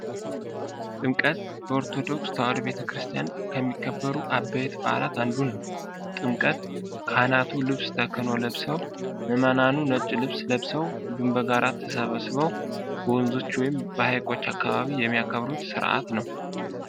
ጥምቀት በኦርቶዶክስ ተዋሕዶ ቤተክርስቲያን ከሚከበሩ ዓበይት በዓላት አንዱ ነው። ጥምቀት ካህናቱ ልብሰ ተክህኖ ለብሰው ምእመኑም ነጭ ልብስ ለብሰው ሁሉም በጋራ ተሰባስበው በወንዞች ወይንም በሀይቆች አካባቢ የሚያከብሩት ስርዓት ነው።